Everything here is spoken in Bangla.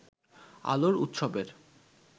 আলোর উৎসবের